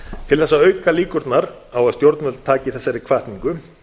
til þess að auka líkurnar á að stjórnvöld taki þessari hvatningu